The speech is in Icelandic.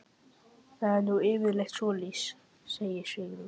Það er nú yfirleitt svoleiðis, segir Sigrún.